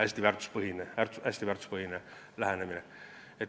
See on hästi väärtuspõhine lähenemine.